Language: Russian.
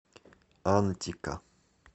антика